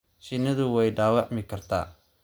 Shinnidu way dhaawacmi kartaa.